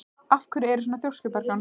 Af hverju ertu svona þrjóskur, Bergjón?